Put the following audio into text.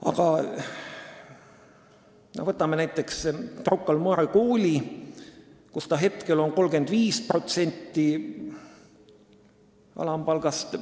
Aga võtame näiteks Rocca al Mare Kooli, kus tasu on 35% alampalgast.